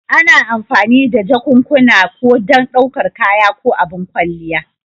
Ana amfani da jakunkuna ko don ɗaukar kaya ko abin kwalliya.